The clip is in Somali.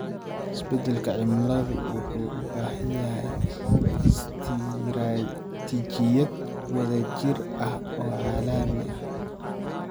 Isbedelka cimiladu wuxuu u baahan yahay istiraatiijiyad wadajir ah oo caalami ah.